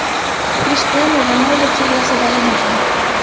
Krishtianu Ronaldu seriyasi davom etadi.